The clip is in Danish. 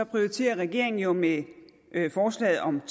prioriterer regeringen jo med forslaget om